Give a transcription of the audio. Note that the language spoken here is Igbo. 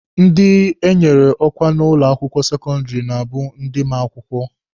Ndị enyere ọkwa n'ụlọ akwụkwọ sekọndịrị na-abụ ndị ma akwụkwọ.